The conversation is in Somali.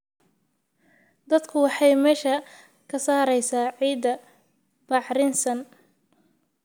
Daadku waxay meesha ka saaraysaa ciidda bacrinsan.